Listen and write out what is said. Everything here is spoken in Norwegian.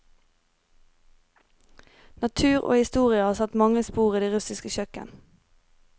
Natur og historie har satt mange spor i det russiske kjøkken.